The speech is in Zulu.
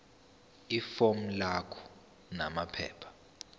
ifomu lakho namaphepha